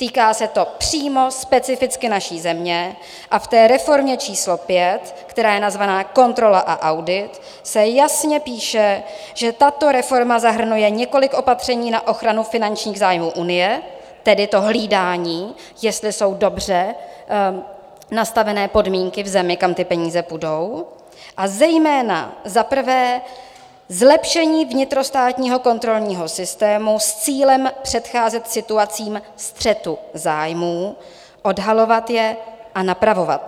Týká se to přímo specificky naší země a v té reformě číslo 5, která je nazvána Kontrola a audit, se jasně píše, že tato reforma zahrnuje několik opatření na ochranu finančních zájmů Unie, tedy to hlídání, jestli jsou dobře nastavené podmínky v zemi, kam ty peníze půjdou, a zejména, za prvé, zlepšení vnitrostátního kontrolního systému s cílem předcházet situacím střetu zájmů, odhalovat je a napravovat.